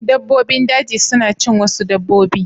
Dabbobin daji suna cin wasu dabbobi.